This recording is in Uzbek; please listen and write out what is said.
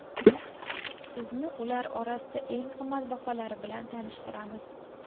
Sizni ular orasidan eng qimmatbaholari bilan tanishtiramiz.